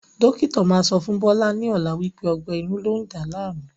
Dókítà máa sọ fún Bọlá ni ọ̀la wípé ọgbẹ́ inú lọ ń dá láàmú